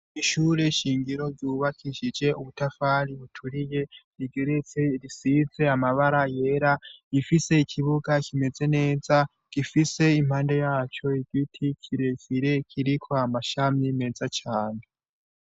Mishure shingiro zubakishije ubutafari buturiye rigeretse risize amabara yera gifise ikibuga kimeze neza gifise impande yaco igiti kiresire kirikwa amashami meza came.